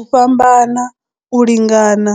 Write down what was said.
U fhambana, u lingana